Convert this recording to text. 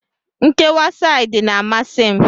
Nkewa saidị na-amasi m